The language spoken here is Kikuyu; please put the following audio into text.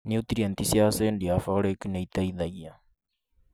Niutrienti cia acindi ya folic nĩ ĩteithagia